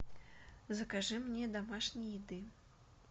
закажи мне домашней еды